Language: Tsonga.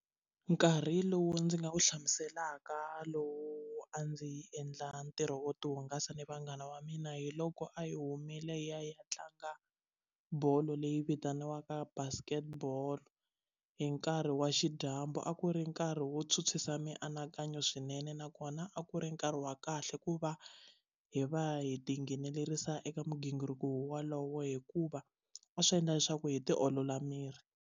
Nkarhi lowu ndzi nga wu hlamuselaka lowu a ndzi endla ntirho wo tihungasa ni vanghana va mina hi loko a hi humile hi ya hi ya tlanga bolo leyi vitaniwaka basket ball hi nkarhi wa xidyambu a ku ri nkarhi wo tshwutshwisa mianakanyo swinene nakona a ku ri nkarhi wa kahle ku va hi va hi tinghenelerisa eka migingiriko wowalowo hikuva a swi endla leswaku hi ti olola miri.